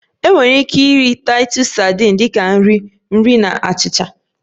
Enwere ike iri Titus sadin dị ka nri nri na achịcha